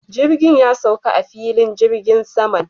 Jirgin ya sauka a filin jirgin saman